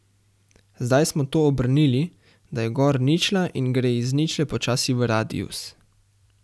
Zdaj smo to obrnili, da je gor ničla in gre iz ničle počasi v radius.